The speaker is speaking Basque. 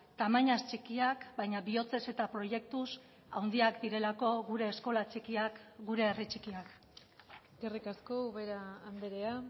tamainaz txikiak baina bihotzez eta proiektuz handiak direlako gure eskola txikiak gure herri txikiak eskerrik asko ubera andrea